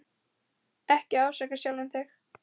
Ekki ásaka sjálfan þig.